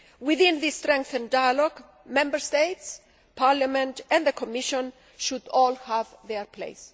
Within this strengthened dialogue, Member States, Parliament and the Commission should all have their place.